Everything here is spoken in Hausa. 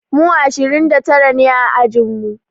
Mu ashirin da tara ne a ajin mu.